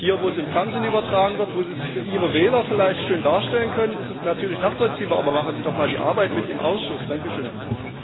Hier, wo es im Fernsehen übertragen wird, wo Sie es für Ihre Wähler vielleicht schön darstellen können, ist es natürlich nachvollziehbar, aber machen Sie doch mal die Arbeit im Ausschuss mit!